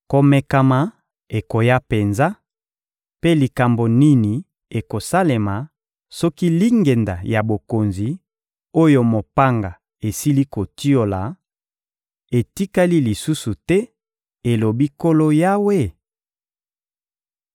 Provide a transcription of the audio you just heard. Komekama ekoya penza; mpe likambo nini ekosalema soki lingenda ya bokonzi, oyo mopanga esili kotiola, etikali lisusu te, elobi Nkolo Yawe?›